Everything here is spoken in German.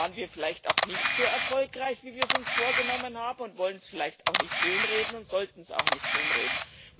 Wo waren wir vielleicht auch nicht so erfolgreich, wie wir es uns vorgenommen haben, und wollen es vielleicht auch nicht schönreden und sollten es auch nicht schönreden?